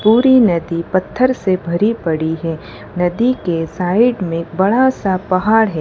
पुरी नदी पत्थर से भरी पड़ी हैं नदी के साइड में बड़ा सा पहाड़ है।